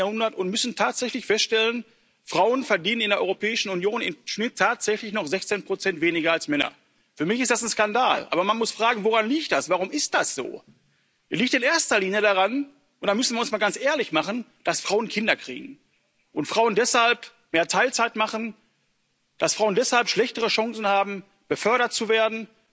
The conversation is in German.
im 21. Jahrhundert und müssen tatsächlich feststellen Frauen verdienen in der Europäischen Union im Schnitt tatsächlich noch 16 weniger als Männer. Für mich ist das ein Skandal. Aber man muss fragen Woran liegt das, warum ist das so? Es liegt in erster Linie daran und da müssen wir mal ganz ehrlich sein dass Frauen Kinder kriegen, und Frauen deshalb mehr Teilzeit machen, dass Frauen deshalb schlechtere Chancen haben, befördert